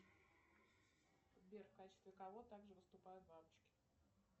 сбер в качестве кого также выступают бабочки